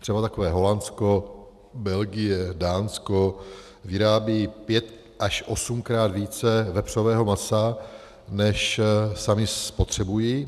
Třeba takové Holandsko, Belgie, Dánsko vyrábějí pět- až osmkrát více vepřového masa, než sami spotřebují.